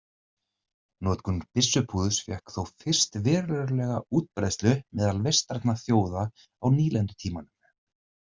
Notkun byssupúðurs fékk þó fyrst verulega útbreiðslu meðal vestrænna þjóða á nýlendutímanum.